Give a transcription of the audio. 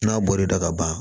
N'a bɔl'i la ka ban